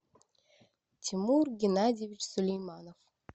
тимур геннадьевич сулейманов